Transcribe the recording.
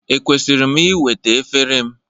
Ekwesịrị m iweta efere m?